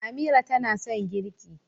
Amira tana son girƙi